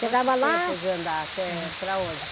Chegava lá... Tempo de andar até para onde?